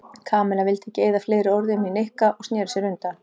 Kamilla vildi ekki eyða fleiri orðum í Nikka og snéri sér undan.